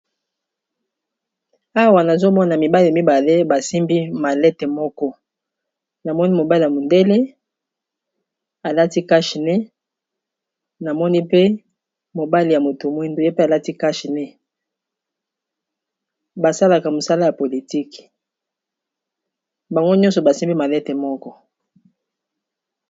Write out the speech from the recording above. Awa nazomona mibali mibale basimbi malete moko, namoni mobali ya mondele alati cash-nez, namoni pe mobali ya moto mwindo ye pe alati cash-nez, basalaka mosala ya politiki bango nyonso basimbi malete moko.